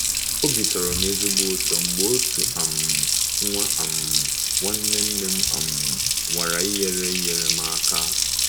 Obi tọrọ m ezigbo ụtọ mgbe otu um nwa um nwanne nne m um nwara inyere inyere m aka.